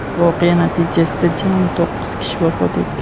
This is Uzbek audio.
voqea natijasida jami to‘qqiz kishi vafot etgan.